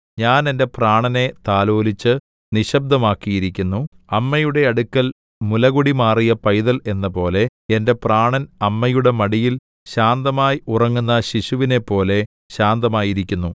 ഞാൻ എന്റെ പ്രാണനെ താലോലിച്ച് നിശ്ശബ്ദമാക്കിയിരിക്കുന്നു അമ്മയുടെ അടുക്കൽ മുലകുടി മാറിയ പൈതൽ എന്നപോലെ എന്റെ പ്രാണൻ അമ്മയുടെ മടിയിൽ ശാന്തമാ‍യി ഉറങ്ങുന്ന ശിശുവിനെപ്പോലെ ശാന്തമായിരിക്കുന്നു